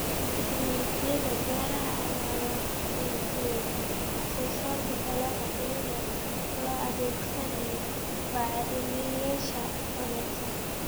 Tiknoolajiyada beeraha ayaa wanaajiyay wax soo saarka dalagga iyadoo la adeegsanayo bacrimiyeyaasha wanaagsan.